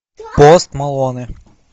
пост малоне